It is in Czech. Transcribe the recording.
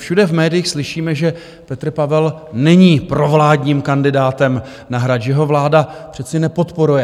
Všude v médiích slyšíme, že Petr Pavel není provládním kandidátem na Hrad, že ho vláda přece nepodporuje.